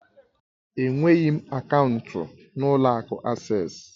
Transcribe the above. Enweghị m akaụntụ n'ụlọ akụ Asés